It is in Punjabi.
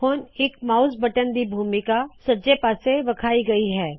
ਹਰ ਇਕ ਮਾਉਸ ਬਟਨ ਕੀ ਭੂਮਿਕਾ ਉੱਤੇ ਸੱਜੇ ਪਾਸੇ ਵਿਖਾਈ ਗਈ ਹੈ